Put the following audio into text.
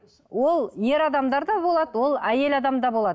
ол ер адамдарда болады ол әйел адамда болады